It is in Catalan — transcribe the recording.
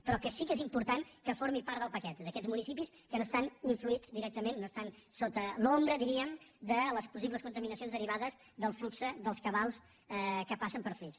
però que sí que és important que formi part del paquet d’aquests municipis que no estan influïts directament no estan sota l’ombra diríem de les possibles contaminacions derivades del flux dels cabals que passen per flix